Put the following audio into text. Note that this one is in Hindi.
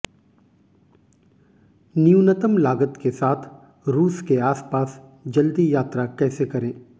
न्यूनतम लागत के साथ रूस के आसपास जल्दी यात्रा कैसे करें